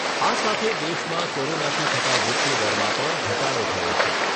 આ સાથે દેશમાં કોરોનાથી થતા મૃત્યુદરમાં પણ ઘટાડો થયો છે.